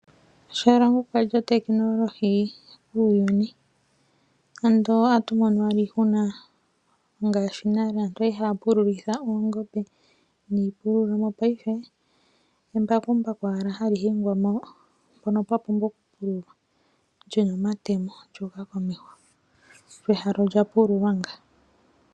Shalongo kwa li otakinolohi kuuyuni, ando otatu mono owala iihuna ngaashi nale aantu ya li haya pululitha oongombe niipululo. Paife embakumbaku owala hali hingwa mpono pwa pumbwa okupululwa li na omatemo, lyo ehala olya pululwa ngaaka.